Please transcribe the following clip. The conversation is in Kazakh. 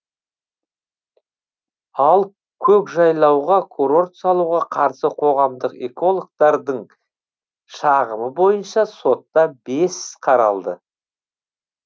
ал көкжайлауға курорт салуға қарсы қоғамдық экологтардың шағымы бойынша сотта бес қаралды